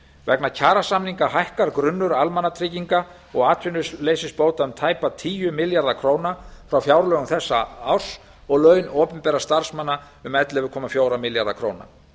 vegna kjarasamninga hækkar grunnur almannatrygginga og atvinnuleysisbóta um tæpa tíu milljarða króna frá fjárlögum þessa árs og laun opinberra starfsmanna um ellefu komma fjóra milljarða króna